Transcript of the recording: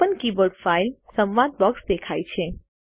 open keyboard file સંવાદ box દેખાય છે